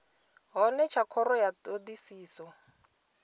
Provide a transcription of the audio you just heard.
hone tsha khoro ya thodisiso